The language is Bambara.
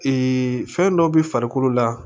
fɛn dɔ bɛ farikolo la